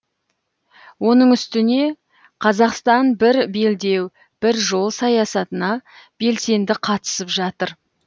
оның үстіне қазақстан бір белдеу бір жол саясатына белсенді қатысып жатыр